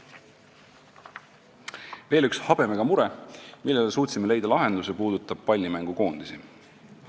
Veel üks habemega mure, millele suutsime leida lahenduse, puudutab pallimängu koondisi.